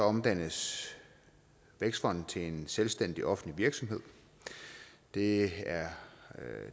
omdannes vækstfonden til en selvstændig offentlig virksomhed det